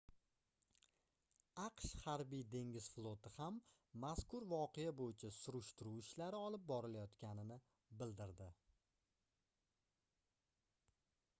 aqsh harbiy-dengiz floti ham mazkur voqea boʻyicha surishtiruv ishlari olib borilayotganini bildirdi